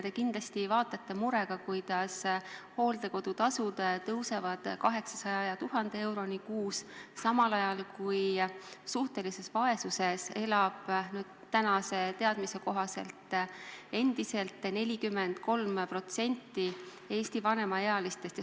Te kindlasti vaatate murega, kuidas hooldekodude tasud tõusevad 800 ja 1000 euroni kuus, samal ajal kui suhtelises vaesuses elab tänase teadmise kohaselt endiselt 43% Eesti vanemaealistest.